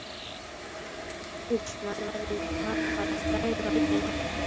Úff, maður varð bara frægur á einni nóttu.